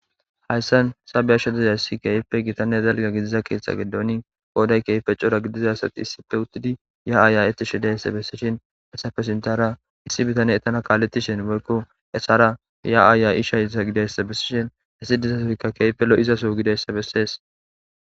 Hayssan sabeyashidizay si keyife gitanne dalga gidiza keeththa gedooni gooday keype cora gidiza sati issife uttidi ya'aaya'ettishidayssa bessishin esafe sintara issi bitane etana kaaletishin boykko esara ya'aaya ishayza gidayssa bessishin issi dizasoykka keypelo'izaso gidayssa bessees